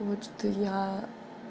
вот что я